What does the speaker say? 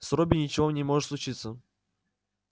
с робби ничего не может случиться